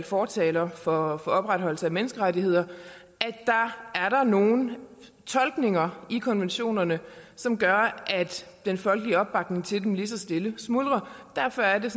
fortaler for opretholdelsen af menneskerettigheder er nogle tolkninger i konventionerne som gør at den folkelige opbakning til dem lige så stille smuldrer derfor er det